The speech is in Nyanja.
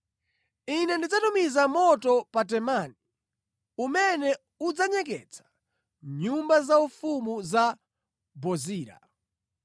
Ine ndidzatumiza moto pa Temani umene udzanyeketsa nyumba zaufumu za Bozira.”